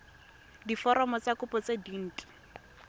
diforomo tsa kopo tse dint